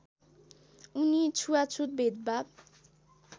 उनी छुवाछुत भेदभाव